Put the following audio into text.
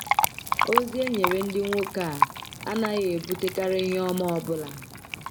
.Ozi e nyere ndị nwoke a anaghị ebutekarị ihe ọma ọ bụla.